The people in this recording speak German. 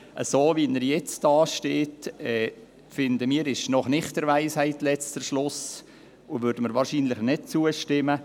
So, wie er jetzt dasteht, ist er noch nicht der Weisheit letzter Schluss, wie wir finden, und wir würden wahrscheinlich nicht zustimmen.